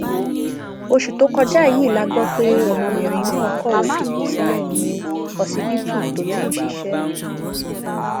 oṣù tó kọjá yìí la gbọ pé ọmọbìnrin náà kọwé fipò sílẹ ní ọsibítù tó ti ń ṣiṣẹ